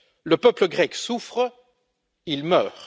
Le peuple grec souffre, il meurt.